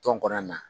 Tɔn kɔnɔna na